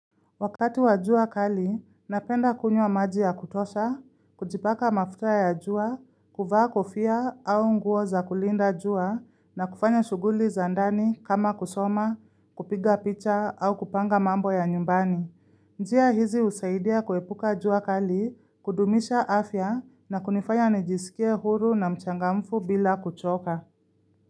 Wakati wa jua kali, napenda kunywa maji ya kutosha, kujipaka mafuta ya jua, kuvaa kofa au nguo za kulinda jua na kufanya shughuli za ndani kama kusoma, kupiga picha au kupanga mambo ya nyumbani. Njia hizi husaidia kuepuka jua kali, kudumisha afya na kunifanya nijisikie huru na mchangamfu bila kuchoka.